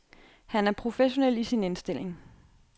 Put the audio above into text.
Han er professionel i sin indstilling.